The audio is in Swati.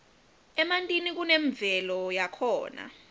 emantini kunemvelo yakhona